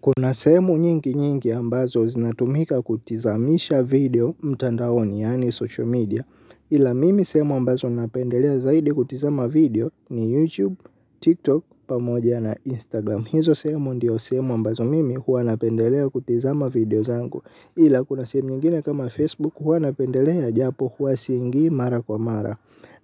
Kuna sehemu nyingi nyingi ambazo zinatumika kutizamisha video mtandaoni yani social media ila mimi sehemu ambazo napendelea zaidi kutizama video ni youtube, tiktok, pamoja na instagram. Hizo sehemu ndio sehemu ambazo mimi huwa napendelea kutizama video zangu ila kuna sehemu nyingine kama facebook huwa napendelea japo huwa siingi mara kwa mara.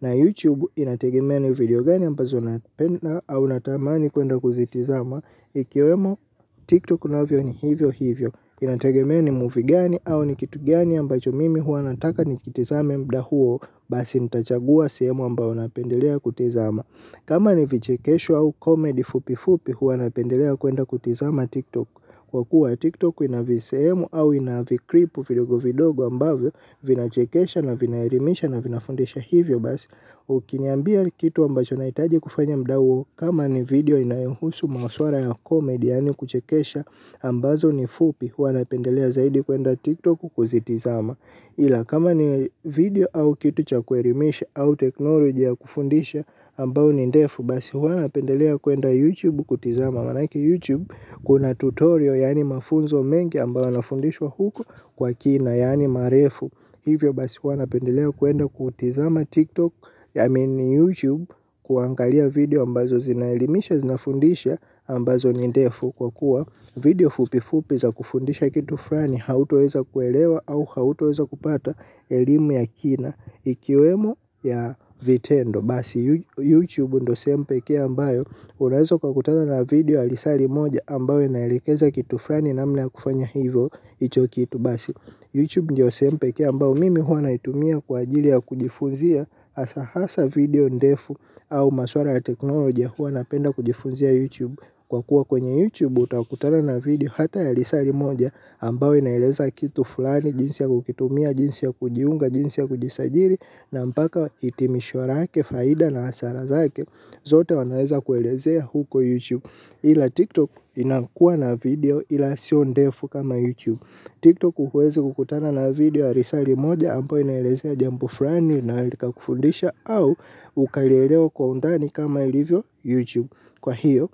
Na YouTube inategemea ni video gani ambazo napenda au natamani kuenda kuzitizama. Ikiwemo TikTok navyo ni hivyo hivyo. Inategemea ni movie gani au ni kitu gani ambacho mimi huwa nataka nikitizame mda huo. Basi nitachagua sehemu ambao napendelea kutizama. Kama ni vichikesho au comedy fupifupi huwa napendelea kuenda kutizama TikTok. Kwa kuwa TikTok ina visehemu au ina vikripu vidogo vidogo ambavyo vinachekesha na vinaerimisha na vinafundisha hivyo basi, ukiniambia kitu ambacho naitaji kufanya mda huo kama ni video inayohusu maswara ya komedi yani kuchekesha ambazo ni fupi huwa napendelea zaidi kuenda TikTok kuzitizama. Ila kama ni video au kitu cha kuerimisha au technology ya kufundisha ambao ni ndefu basi huwa napendelea kuenda youtube kutizama manake youtube kuna tutorial yani mafunzo mengi ambao wanafundishwa huko kwa kina yani marefu. Hivyo basi huwa napendelea kuenda kutizama TikTok I mean YouTube kuangalia video ambazo zinaelimisha zinafundisha ambazo ni ndefu kwa kuwa video fupi fupi za kufundisha kitu frani. Hautoweza kuelewa au hautoweza kupata elimu ya kina. Ikiwemo ya vitendo. Basi YouTube ndo sehemu pekee ambayo unaweza ukakutana na video ya lisari moja ambayo inaelekeza kitu frani. Namna ya kufanya hivyo icho kitu basi Youtube ndio sehemu pekee ambao mimi huwa naitumia kwa ajili ya kujifunzia hasa video ndefu au maswara ya teknolojia hua napenda kujifunzia Youtube. Kwa kuwa kwenye Youtube utakutana na video hata ya risali moja ambao inaeleza kitu fulani jinsi ya kukitumia jinsi ya kujiunga jinsi ya kujisajiri na mpaka itimisho rake faida na asara zake. Zote wanaeza kuelezea huko Youtube ila TikTok inakuwa na video ila sio ndefu kama Youtube TikTok huwezi kukutana na video ya risali moja ambayo inaelezea jambo furani na likakufundisha au ukalielewa kwa undani kama ilivyo YouTube. Kwa hiyo,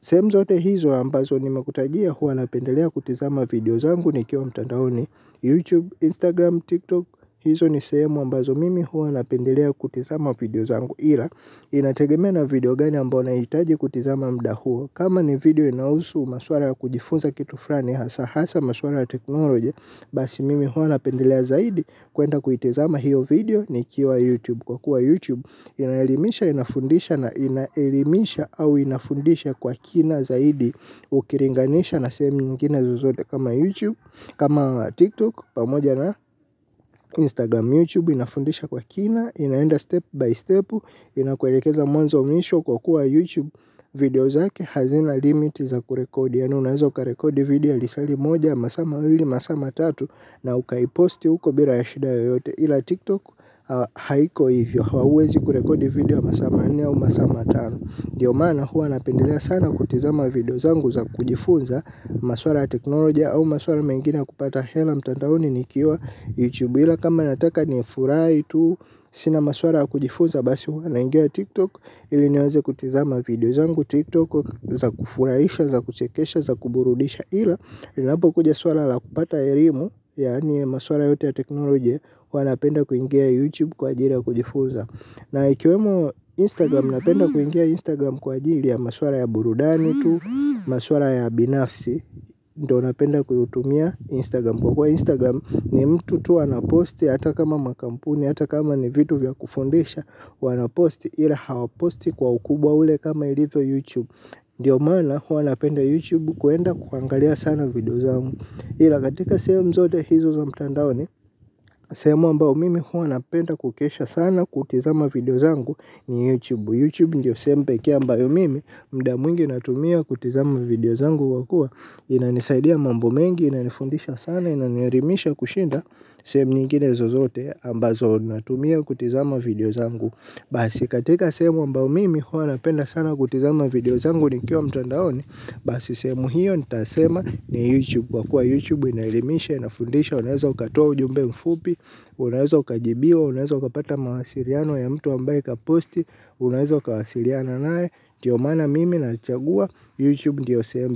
sehemu zote hizo ambazo nimekutajia huwa napendelea kutizama video zangu nikiwa mtandaoni. YouTube, Instagram, TikTok hizo ni sehemu ambazo mimi huwa napendelea kutizama video zangu. Ila inategemea na video gani ambao nahitaji kutizama mda huo kama ni video inahusu maswara ya kujifunza kitu furani hasa hasa maswara ya teknolojia basi mimi huwa napendelea zaidi kwenda kuitizama hiyo video nikiwa youtube kwa kuwa YouTube inaelimisha au inafundisha kwa kina zaidi ukiringanisha na sehemu nyingine zozote kama youtube kama tiktok pamoja na instagram. YouTube inafundisha kwa kina, inaenda step by step, inakuerekeza mwanzo mwisho kwa kuwa YouTube video zake hazina limit za kurekodi. Yani unaeza ukarekodi video ya lisali moja ya masaa mawili, masaa matatu na ukaiposti uko bila ya shida yoyote ila TikTok haiko hivyo. Hauwezi kurekodi video ya masaa manne au masaa matano. Ndio maana huwa napendelea sana kutizama video zangu za kujifunza maswara ya teknolojia au maswara mengine ya kupata hela mtandaoni nikiwa YouTube. Ila kama nataka nifurai tu. Sina maswara ya kujifunza. Basi huwa naingia tiktok. Ili niweze kutizama video zangu Tiktok za kufuraisha za kuchekesha za kuburudisha. Ila inapokuja swara la kupata erimu. Yani maswara yote ya teknolojia huwa napenda kuingia youtube kwa ajiri ya Kujifunza. Na ikiwemo instagram napenda kuingia instagram kwa ajiri ya maswara ya burudani tu. Maswara ya binafsi ndio napenda kuitumia instagram. Kwa kuwa instagram ni mtu tu anaposti hata kama makampuni hata kama ni vitu vya kufundisha wanaposti ila hawaposti kwa ukubwa ule kama ilivyo YouTube. Ndio maana huwa napenda YouTube kuenda kuangalia sana video zangu ila katika sehemu zote hizo za mtandaoni sehemu ambao mimi huwa napenda kukesha sana kutikizama video zangu ni YouTube YouTube ndio sehemu pekee ambayo mimi mda mwingi natumia kutizama video zangu wa kua. Inanisaidia mambo mengi inanifundisha sana inanierimisha kushinda. Sehemu nyingine zozote ambazo natumia kutizama video zangu. Basi katika sehemu ambao mimi huwa napenda sana kutizama video zangu nikiwa mtandaoni. Basi sehemu hiyo nitasema ni YouTube. Kwa kuwa YouTube inaelimisha inafundisha. Unaweza ukatua ujumbe mfupi. Unaweza ukajibiwa. Unaweza ukapata mawasiriano ya mtu ambaye kaposti. Unaweza ukawasiliana nae ndio maana mimi nachagua YouTube ndio sehemu.